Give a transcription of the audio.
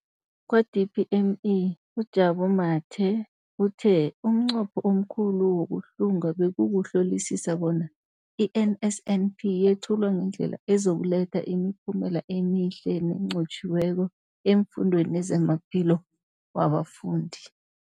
Kwa-DPME, uJabu Mathe, uthe umnqopho omkhulu wokuhlunga bekukuhlolisisa bona i-NSNP yethulwa ngendlela ezokuletha imiphumela emihle nenqotjhiweko efundweni nezamaphilo wabafundi.